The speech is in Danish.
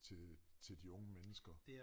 Til de unge mennesker